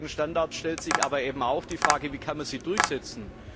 Bei weltweiten Standards stellt sich aber auch die Frage Wie kann man sie durchsetzen?